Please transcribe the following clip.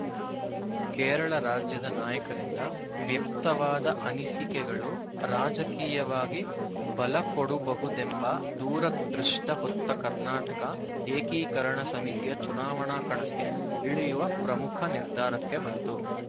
ಕೇರಳ ರಾಜ್ಯದ ನಾಯಕರಿಂದ ವ್ಯಕ್ತವಾದ ಅನಿಸಿಕೆಗಳು ರಾಜಕೀಯವಾಗಿ ಬಲಕೊಡುಬಹುದೆಂಬ ದೂರದೃಷ್ಟಿ ಹೊತ್ತ ಕರ್ನಾಟಕ ಏಕೀಕರಣ ಸಮಿತಿಯು ಚುನಾವಣಾ ಕಣಕ್ಕೆ ಇಳಿಯುವ ಪ್ರಮುಖ ನಿರ್ಧಾರಕ್ಕೆ ಬಂತು